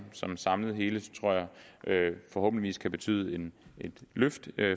som et samlet hele tror jeg forhåbentlig kan betyde et løft